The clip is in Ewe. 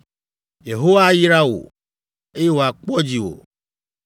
“‘ “Yehowa ayra wò, eye wòakpɔ dziwò!